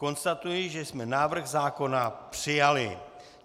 Konstatuji, že jsme návrh zákona přijali.